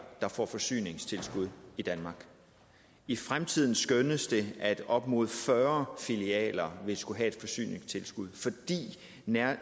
der får forsyningstilskud i danmark i fremtiden skønnes det at op mod fyrre filialer vil skulle have et forsyningstilskud netop